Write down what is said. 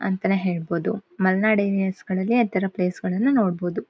ಆ ತರ ಪ್ಲೇಸ್ ನೋಡೋದಕ್ಕೆ ಎಷ್ಟು ಚಂದಾ.